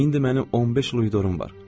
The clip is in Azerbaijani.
İndi mənim 15 il uidorum var.